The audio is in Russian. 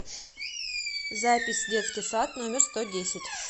запись детский сад номер сто десять